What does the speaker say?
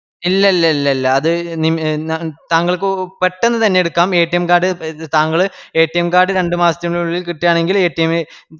ഇല്ലല്ലലില്ലില്ല അത് താങ്കള്ക്ക് പെട്ടന്ന് തന്നെ എടുക്കാം card താങ്കള് card രണ്ടുമാസത്തിനുള്ളിൽ കിട്ടുവാണെങ്കിൽ